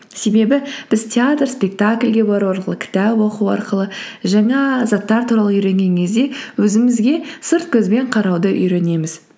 себебі біз театр спектакльге бару арқылы кітап оқу арқылы жаңа заттар туралы үйренген кезде өзімізге сырт көзбен қарауды үйренеміз